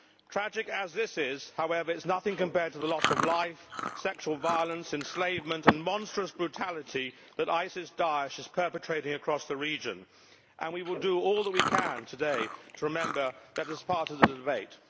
Tragic as this is, however, it is nothing compared to the loss of life, the sexual violence, enslavement and monstrous brutality that ISIS Daesh is perpetrating across the region, and we will do all that we can today to remember that as part of the debate.